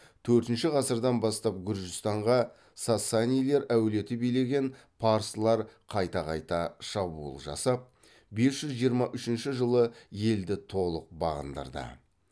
төртінші ғасырдан бастап гүржістанға сасанилер әулеті билеген парсылар қайта қайта шабуыл жасап бес жүз жиырма үшінші жылы елді толық бағындырды